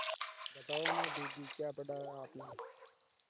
बताओ न दीदी क्या पढ़ा है आपने